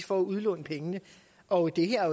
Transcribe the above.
for at udlåne pengene og der er